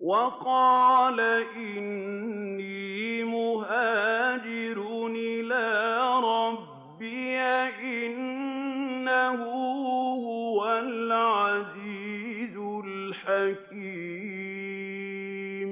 وَقَالَ إِنِّي مُهَاجِرٌ إِلَىٰ رَبِّي ۖ إِنَّهُ هُوَ الْعَزِيزُ الْحَكِيمُ